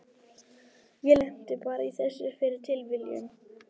Ég lenti bara í þessu fyrir tilviljun.